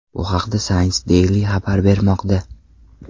Bu haqda Science Daily xabar bermoqda .